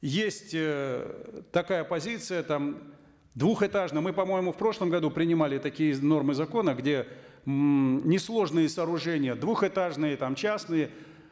есть эээ такая позиция там двухэтажные мы по моему в прошлом году принимали такие нормы закона где ммм несложные сооружения двухэтажные там частные